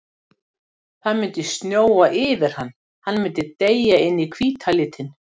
Það myndi snjóa yfir hann, hann myndi deyja inn í hvíta litinn.